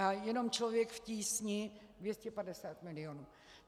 A jenom Člověk v tísni 250 milionů.